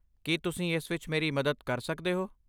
ਕੀ ਤੁਸੀਂ ਇਸ ਵਿੱਚ ਮੇਰੀ ਮਦਦ ਕਰ ਸਕਦੇ ਹੋ?